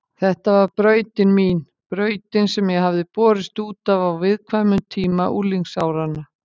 Þetta var brautin mín, brautin sem ég hafði borist út af á viðkvæmum tíma unglingsáranna.